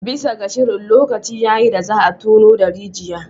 Bisa ga shirin, lokaci ya yi da za a tono da rijiya